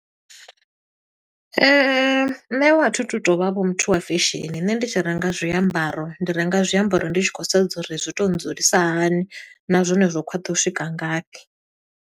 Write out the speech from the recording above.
Nṋe vho a thi tu to vha vho muthu wa fesheni, nṋe ndi tshi renga zwiambaro ndi renga zwiambaro ndi tshi khou sedza uri zwi to dzulisa hani, na zwone zwo khwaṱha u swika ngafhi.